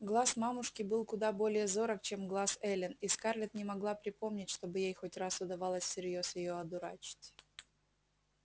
глаз мамушки был куда более зорок чем глаз эллин и скарлетт не могла припомнить чтобы ей хоть раз удавалось всерьёз её одурачить